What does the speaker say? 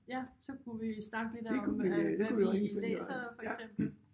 Ja så kunne vi snakke lidt om hvad vi læser for eksempel